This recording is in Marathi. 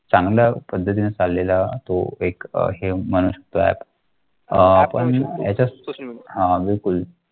चांगल्या पद्धतीने चाललेला तो एक आहे म्हणून अह आपण याच्या